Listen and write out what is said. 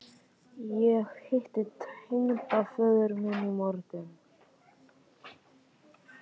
Ég hitti tengdaföður minn í morgun